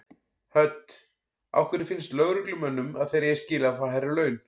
Hödd: Af hverju finnst lögreglumönnum að þeir eigi skilið að fá hærri laun?